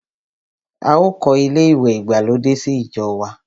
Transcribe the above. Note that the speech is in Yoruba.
A ò kọ́ ilé ìwẹ̀ ìgbàlódé sí ìjọ wa.